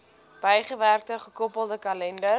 bygewerkte gekoppelde kalender